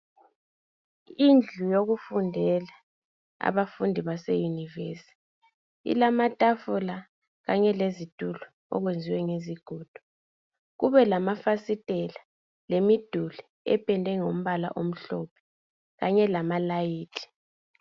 Indlu yokufundela abafundi baseyunivesithi ilamatafula kanye lezitulo okwenziwe ngezigodo, kube lamafasitela lemiduli ependwe ngombala omhlophe kanye lamalayithi.